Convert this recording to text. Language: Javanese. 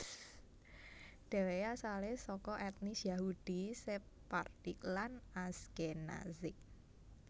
Dheweke asale saka etnis Yahudi Sephardic lan Ashkenazic